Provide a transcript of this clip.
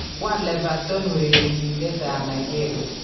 Koal Evertorn urerenindetab Nigeria